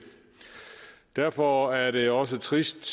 derfor er det også trist